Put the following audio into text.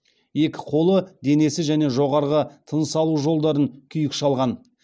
екі қолы денесі және жоғарғы тыныс алу жолдарын күйік шалған